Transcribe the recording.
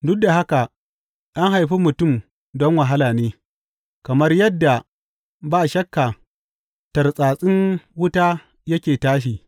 Duk da haka an haifi mutum don wahala ne, kamar yadda ba shakka tartsatsin wuta yake tashi.